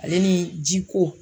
Ale ni ji ko